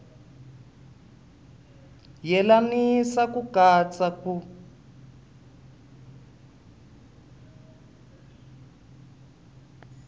yelanisa ku katsa ni ku